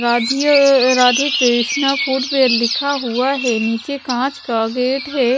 Radhey Radhe Krishna food fair लिखा हुआ हैं नीचे कांच का गेट है।